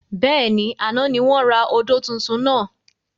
Bẹ́ẹ̀ni, àná ni wọn ra odò tuntun náà.